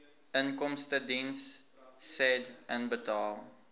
inkomstediens said inbetaal